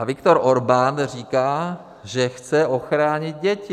A Viktor Orbán říká, že chce ochránit děti.